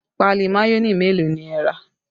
Páálí mayonẹ mélòó ni ẹ rà?